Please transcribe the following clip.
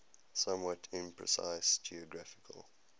somewhat imprecise geographical